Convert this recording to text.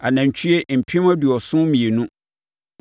anantwie mpem aduɔson mmienu (72,000);